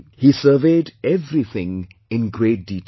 He surveyed everything in great detail